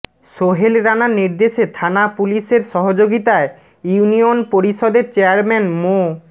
সোহেল রানার নির্দেশে থানা পুলিশের সহযোগিতায় ইউনিয়ন পরিষদের চেয়ারম্যান মো